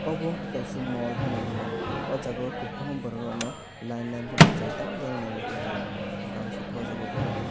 obo ungkha kaisa mall phano hinwi mano oh jaga kwbangma borokrokno line line bachai tamjani nai tonglaio ba bangsukha oh jagao borok.